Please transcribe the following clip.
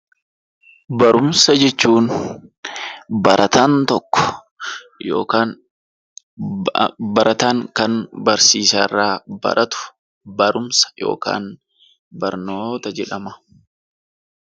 Barumsa jechuun barataan tokko yookaan immoo barataan barsiisa irraa kan baratu barumsa yookaan barnoota jedhama.